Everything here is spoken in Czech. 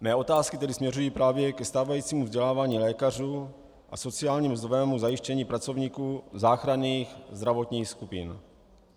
Mé otázky tedy směřují právě ke stávajícímu vzdělávání lékařů a sociálně mzdovému zajištění pracovníků záchranných zdravotních skupin.